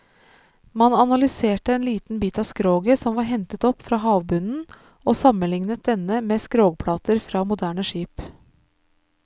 Man analyserte en liten bit av skroget som var hentet opp fra havbunnen og sammenlignet denne med skrogplater fra moderne skip.